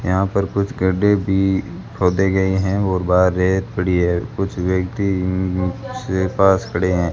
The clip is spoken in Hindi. यहां पर कुछ गड्ढे भी खोदे गए हैं और बाहर रेत पड़ी है कुछ व्यक्ति उस पास खड़े हैं।